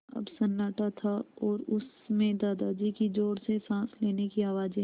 अब सन्नाटा था और उस में दादाजी की ज़ोर से साँस लेने की आवाज़ें